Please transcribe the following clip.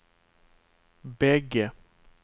bägge